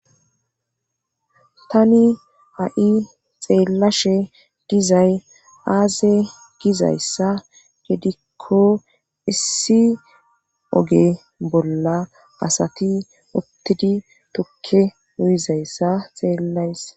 tani ha'i xeellashe dizay aaze gizayssa gedikko issi oge bolla asati uttidi tukke uyizayssa xeellayssa.